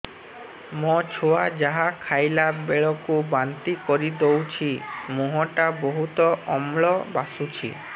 ମୋ ଛୁଆ ଯାହା ଖାଇଲା ବେଳକୁ ବାନ୍ତି କରିଦଉଛି ମୁହଁ ଟା ବହୁତ ଅମ୍ଳ ବାସୁଛି